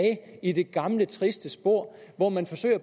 i det gamle triste spor hvor man